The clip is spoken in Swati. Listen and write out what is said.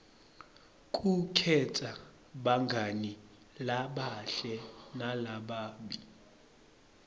kukhetsa bangani labahle nalababi